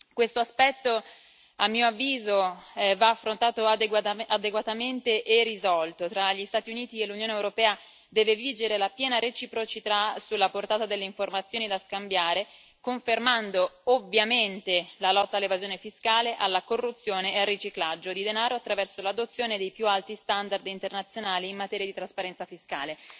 Questo aspetto, a mio avviso, va affrontato adeguatamente e risolto tra gli Stati Uniti e l'Unione europea deve vigere la piena reciprocità sulla portata delle informazioni da scambiare, confermando ovviamente la lotta all'evasione fiscale, alla corruzione e al riciclaggio di denaro, attraverso l'adozione dei più alti standard internazionali in materia di trasparenza fiscale.